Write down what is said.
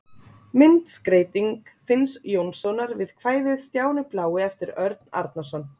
Myndskreyting Finns Jónssonar við kvæðið Stjáni blái eftir Örn Arnarson.